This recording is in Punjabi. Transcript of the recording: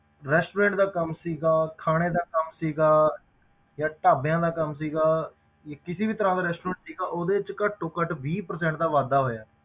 Restaurant ਦਾ ਕੰਮ ਸੀਗਾ, ਖਾਣੇ ਦਾ ਕੰਮ ਸੀਗਾ ਜਾਂ ਢਾਬਿਆਂ ਦਾ ਕੰਮ ਸੀਗਾ ਜਾਂ ਕਿਸੇ ਵੀ ਤਰ੍ਹਾਂ ਦਾ restaurant ਸੀਗਾ ਉਹਦੇ ਵਿੱਚ ਘੱਟੋ ਘੱਟ ਵੀਹ percent ਦਾ ਵਾਧਾ ਹੋਇਆ।